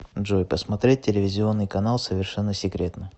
джой посмотреть телевизионный канал совершенно секретно